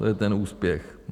To je ten úspěch.